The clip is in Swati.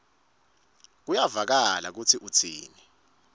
kuyevakala kutsi utsini